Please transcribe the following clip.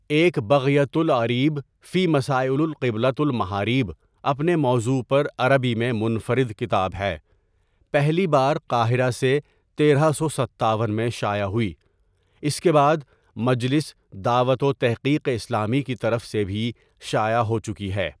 ایک بغیة الأریب فی مسائل القبلة والمحاریب اپنے موضوع پر عربی میں منفرد کتاب ہے ،پہلی بار قاہرہ سے تیرہ سو ستاون میں شائع ہوئی، اس کے بعد مجلس دعوت وتحقیق اسلامی کی طرف سے بھی شائع ہوچکی ہے.